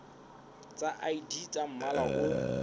tsa id tsa mmala o